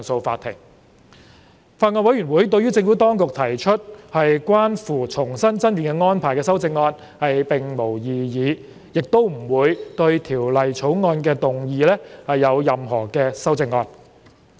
法案委員會對於政府當局提出的關乎重新爭辯安排的修正案並無異議，亦不會對《條例草案》動議任何修正案。